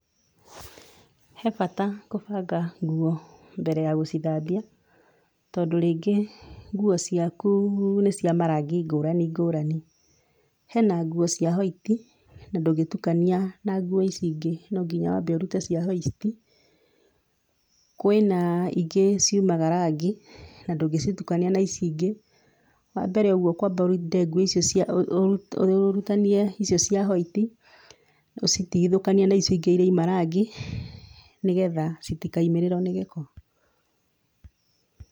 Hee bata kũbanga nguo mbere ya gũcithambia, tondũ rĩngĩ nguo ciaku nĩcia marangi ngũrani ngũrani. Hee na nguo cia hwaiti na ndũngĩtukania na nguo ici ingĩ, no nginya wambe ũrute cia hwaiti. Kwĩ na ingĩ ciumaga rangi na ndũngĩcitukania na ici ingĩ, wambere ũguo ũkwamba ũrinde nguo icio cia, ũrutania icio cia hwaiti, ũcitigithũkanie na icio ingĩ cirauma rangi nĩgetha citikaimĩrĩrwo nĩ gĩko.